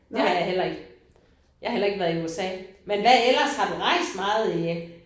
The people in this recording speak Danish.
Det har jeg heller ikke. Jeg har heller ikke været i USA. Hvad hvad ellers har du rejst meget i